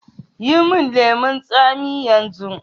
Yi min lemun tsami yanzu